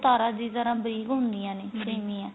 ਉਹ ਤਾਰਾਂ ਦੀ ਤਰ੍ਹਾਂ ਬਰੀਕ ਹੁੰਦੀਆਂ ਨੇ ਸੇਮੀਆਂ